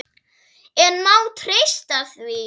En má treysta því?